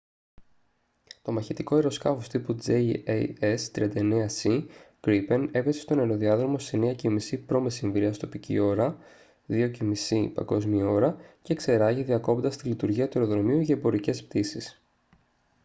το μαχητικό αεροσκάφος τύπου jas 39c gripen έπεσε στον αεροδιάδρομο στις 9:30 π.μ. τοπική ώρα 0230 παγκόσμια ώρα και εξερράγη διακόπτοντας τη λειτουργία του αεροδρομίου για εμπορικές πτήσεις